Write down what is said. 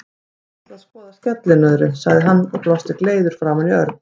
Ég ætla að fara að skoða skellinöðru, sagði hann og brosti gleiður framan í Örn.